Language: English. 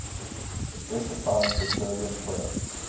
specifying petroleum products